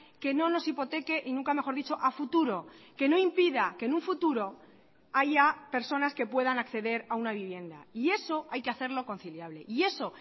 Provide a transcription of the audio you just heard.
que no nos hipoteque y nunca mejor dicho a futuro que no impida que en un futuro haya personas que puedan acceder a una vivienda y eso hay que hacerlo conciliable y eso